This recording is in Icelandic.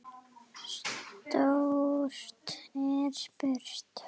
Stórt er spurt.